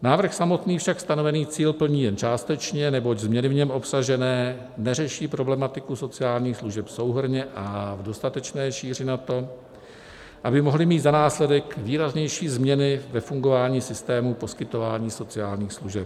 Návrh samotný však stanovený cíl plní jen částečně, neboť změny v něm obsažené neřeší problematiku sociálních služeb souhrnně a v dostatečné šíři na to, aby mohly mít za následek výraznější změny ve fungování systému poskytování sociálních služeb.